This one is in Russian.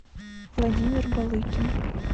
владимир балыкин